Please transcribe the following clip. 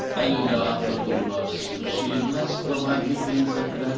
előreláthatólag szükség lesz további pénzekre.